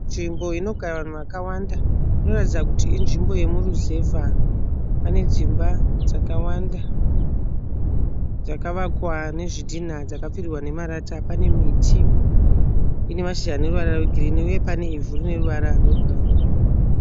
Nzvimbo inogara vanhu vakawanda, inoratidza kuti inzvimbo yemuruzevha. Pane dzimba dzakawanda dzakavakwa nezvidinha dzakapfirirwa nemarata pane miti ine mashizha eruvara rwegirini uye pane ivhu rine ruvara rwebhurauni.